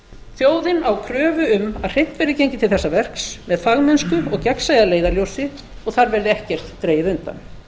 þjóðin á kröfu um að hreint verði gengið til þessa verks með fagmennsku og gegnsæi að leiðarljósi og þar verði ekkert dregið undan